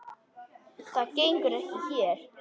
Það gengur ekki hér.